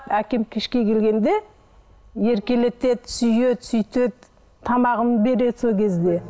әкем кешке келгенде еркелетеді сүйеді сөйтеді тамағымды береді сол кезде